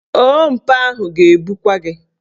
Ompa ahụ ga-ebukwa gị.